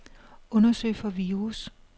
Undersøg for virus.